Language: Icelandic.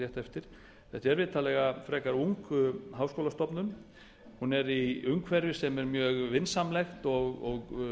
eftir þetta er vitanlega frekar ung háskólastofnun hún er í umhverfi sem er mjög vinsamlegt og